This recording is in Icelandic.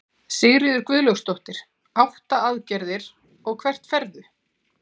Sigríður Guðlaugsdóttir: Átta aðgerðir, og hvert ferðu?